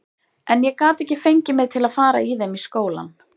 En ég gat ekki fengið mig til að fara í þeim í skólann.